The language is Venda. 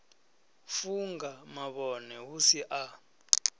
funga mavhone hu si a